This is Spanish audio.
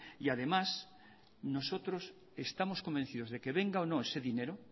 y además nosotros estamos convencidos de que venga o no ese dinero